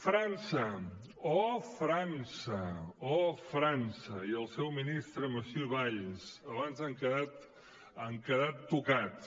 frança oh frança oh frança i el seu ministre monsieur valls abans han quedat tocats